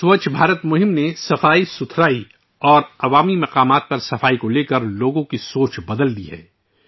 سووچھ بھارت ابھیان نے صفائی اور عوامی حفظان صحت کے حوالے سے لوگوں کی ذہنیت کو بدل دیا ہے